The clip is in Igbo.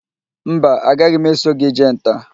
Mba, a gaghị m eso gị jee nta